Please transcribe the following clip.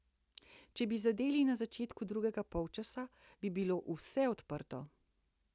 Če bi zadeli na začetku drugega polčasa, bi bilo vse odprto.